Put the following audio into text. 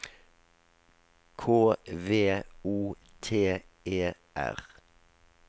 K V O T E R